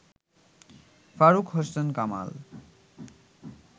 Faruk Hossain Kamal